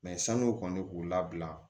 san'o kɔni k'u labila